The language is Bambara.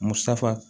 Musafa